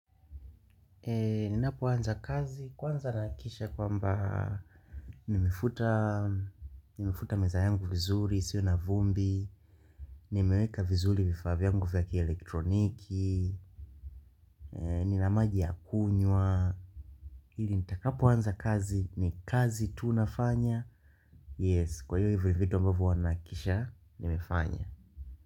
Ninapoanza kazi, kwanza nahakikisha kwamba nimefuta meza yangu vizuri, isiwe na vumbi, nimeweka vizuri vifaa yangu vya kielektroniki, nina maji ya kunywa, ili nitakapoanza kazi ni kazi tu nafanya, yes, kwa hivyo hivyo ndio ambavyo huwa nahakikisha, nimefanya.